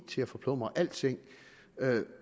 til at forplumre alting